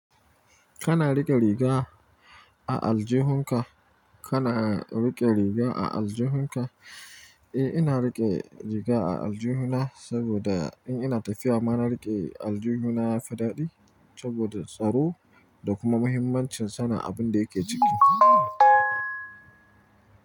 Kana riƙe riga a aljihunka? Kana riƙe riga a aljihunka? Eh, ina riƙe riga a aljihuna saboda in ina tafiya ma na riƙe aljihuna ya fi daɗi saboda tsaro da kuma muhimmancin sana abin da yake ciki.